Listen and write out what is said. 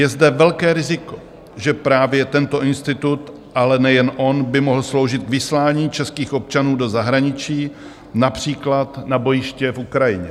Je zde velké riziko, že právě tento institut, ale nejen on, by mohl sloužit k vyslání českých občanů do zahraničí, například na bojiště v Ukrajině.